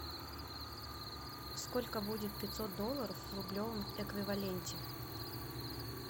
сколько будет пятьсот долларов в рублевом эквиваленте